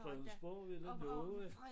Fredensborg og villa nova